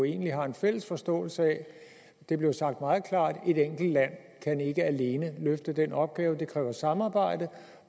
egentlig har en fælles forståelse af det blev sagt meget klart at et enkelt land ikke alene kan løfte den opgave det kræver samarbejde